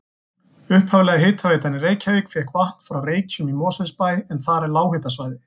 Upphaflega hitaveitan í Reykjavík fékk vatn frá Reykjum í Mosfellsbæ en þar er lághitasvæði.